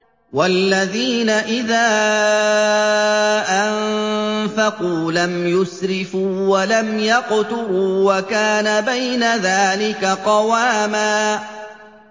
وَالَّذِينَ إِذَا أَنفَقُوا لَمْ يُسْرِفُوا وَلَمْ يَقْتُرُوا وَكَانَ بَيْنَ ذَٰلِكَ قَوَامًا